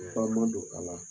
man d'o a la